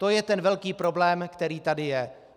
To je ten velký problém, který tady je.